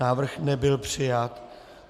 Návrh nebyl přijat.